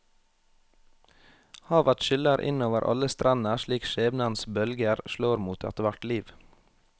Havet skyller inn over alle strender slik skjebnens bølger slår mot ethvert liv.